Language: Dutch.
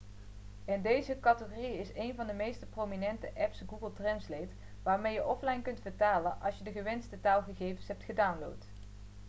in deze categorie is een van de meest prominente apps google translate waarmee je offline kunt vertalen als je de gewenste taalgegevens hebt gedownload